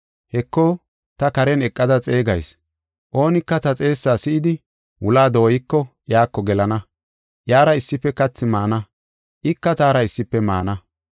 Heko, ta karen eqada xeegayis. Oonika ta xeessaa si7idi, wulaa dooyiko, iyako gelana; iyara issife kathi maana; ika taara issife maana.